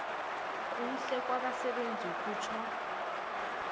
kuhle kwabasebenzi kutjho